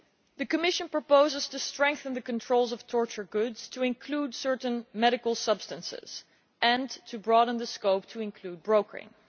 The Commission proposes to strengthen the controls of torture goods to include certain medical substances and to broaden the scope to include brokering.